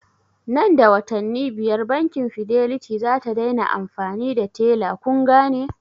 Nan da watanni biyar bankin fidelity zata dai na amfani da tella kungane?